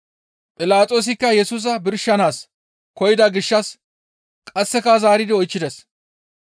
Philaxoosikka Yesusa birshanaas koyida gishshas qasseka zaaridi oychchides.